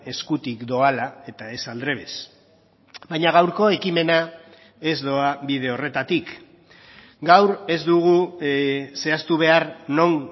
eskutik doala eta ez aldrebes baina gaurko ekimena ez doa bide horretatik gaur ez dugu zehaztu behar non